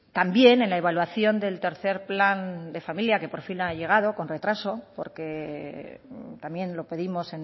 también en la evaluación del tercer plan de familia que por fin ha llegado con retraso porque también lo pedimos